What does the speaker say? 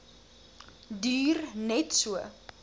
duur net so